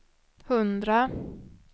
hundra